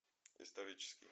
исторический